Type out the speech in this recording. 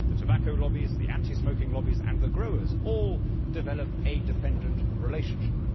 The tobacco lobbies, the anti smoking lobbies and the growers all develop a dependent relationship.